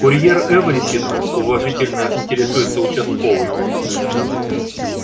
курьер эврисинг уважительно интересуется участковый